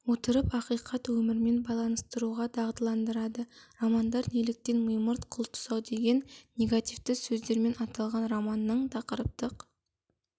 отырып ақиқат өмірмен байланыстыруға дағдыландырады романдар неліктен мимырт қыл тұсау деген негативті сөздермен аталған романның тақырыптық